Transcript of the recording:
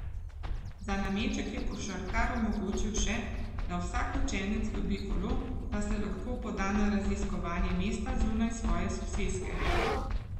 Za nameček je košarkar omogočil še, da vsak učenec dobi kolo, da se lahko poda na raziskovanje mesta zunaj svoje soseske.